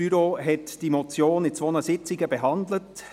Das Büro hat diese Motion an zwei Sitzungen behandelt.